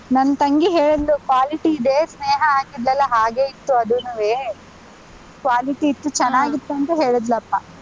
ನನ್ ತಂಗಿ ಹೇಳಿದ್ಲು quality ಇದೆ, ಸ್ನೇಹ ಹಾಕಿದ್ಲಲ್ಲಾ ಹಾಗೆ ಇತ್ತು ಅದೂನುವೆ, quality ಇತ್ತು, ಅಂತ ಹೇಳಿದ್ಲಪ್ಪ.